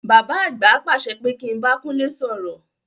Bàbá àgbà pàṣẹ pé kí n bá Kúnlé sọ̀rọ̀.